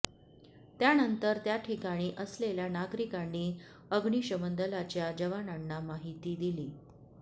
त्यानंतर त्याठिकाणी असलेल्या नागरिकांनी अग्निशमन दलाच्या जवानांना माहिती दिली